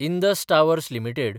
Indus towers limited